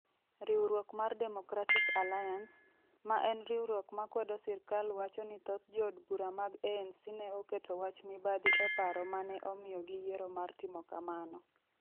Riwruok mar Democratic Alliance, ma en riwruok ma kwedo sirkal wacho ni thoth jood bura mag ANC ne oketo wach mibadhi e paro ma ne omiyo giyiero mar timo kamano.